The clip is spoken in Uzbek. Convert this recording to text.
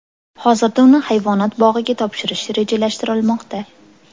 Hozirda uni hayvonot bog‘iga topshirish rejalashtirilmoqda.